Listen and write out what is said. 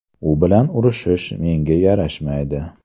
U bilan urishish menga yarashmaydi.